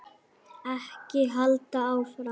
Ekki halda áfram.